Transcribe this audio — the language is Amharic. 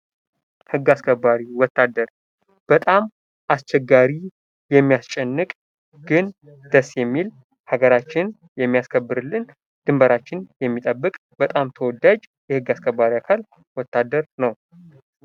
ህግ አስከባሪ፦ ወታደር በጣም አስቸጋሪ የሚያስጨንቅ ግን ደስ የሚል ሀገራችን የሚያስከብርልን ድንበራችን የሚያስጠብቅልን በጣም ተወዳጅ የህግ አስከባሪ አካል ነው።